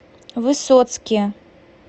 высоцке